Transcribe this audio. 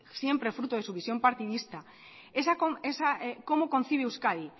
siempre fruto de su visión partidista cómo concibe euskadi